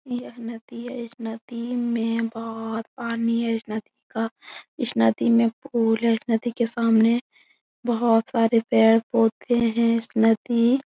यह नदी है इस नदी में बहोत पानी है इस नदी का इश नदी में पूल है इस नदी के सामने बहोत सारे पैड़ पोधे है इस नदी --